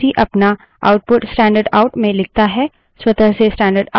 स्वतः से डब्ल्यूसी अपना output standardout आउट stdout में लिखता है